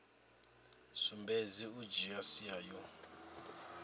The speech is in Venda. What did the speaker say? sumbedzi u dzhia sia yo